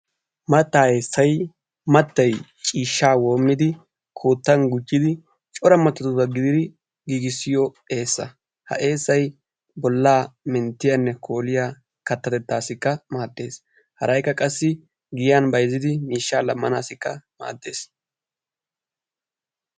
Mattaa essay mattay ciishshaa woommidi koottan gujjidi cora mattatuura gididi giigissiyo eessa. Ha essay bollaa minttiyaanne kooliya kattatettaassikka maaddees. Haraykka qassii giyan bayzzidi miishshaa laammanaassikka maaddees.